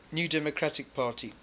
new democratic party